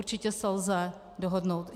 Určitě se lze dohodnout.